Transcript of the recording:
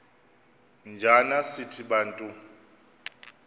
njana sithi bantu